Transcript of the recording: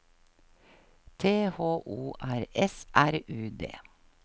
T H O R S R U D